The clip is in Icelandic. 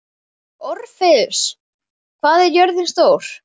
Orfeus, hvað er jörðin stór?